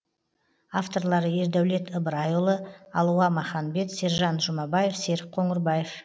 авторлары ердәулет ыбырайұылы алуа маханбет сержан жұмабаев серік қоңырбаев